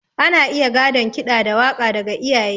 Ana iya gadon ƙida da waka daga iyaye.